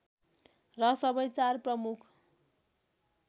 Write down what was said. र सबै चार प्रमुख